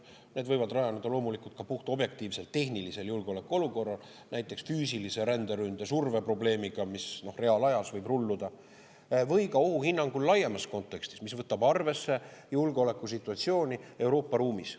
Need võivad rajaneda loomulikult ka puhtobjektiivselt tehnilisel julgeolekuolukorral, näiteks füüsilise ränderünde surve probleemil, mis reaalajas võib rulluda, või ka ohuhinnangul laiemas kontekstis, mis võtab arvesse julgeolekusituatsiooni Euroopa ruumis.